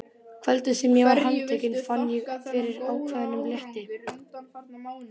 Kvöldið sem ég var handtekinn fann ég fyrir ákveðnum létti.